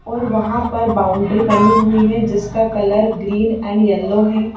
और वहां पर बाउंड्री बनी हुई हैं जिसका कलर ग्रीन एंड येलो है।